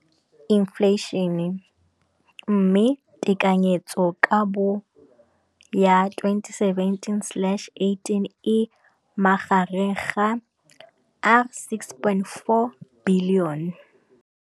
Infleišene, mme tekanyetsokabo ya 2017, 18, e magareng ga R6.4 bilione.